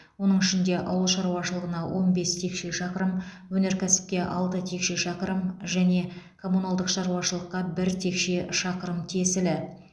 оның ішінде ауыл шаруашылығына он бес текше шақырым өнеркәсіпке алты текше шақырым және коммуналдық шаруашылыққа бір текше шақырым тиесілі